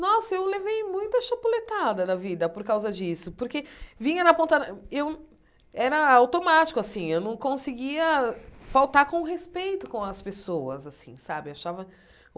Nossa, eu levei muita chapuletada da vida por causa disso, porque vinha na ponta da eu... Era automático assim, eu não conseguia faltar com respeito com as pessoas assim sabe achava.